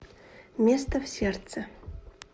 место в сердце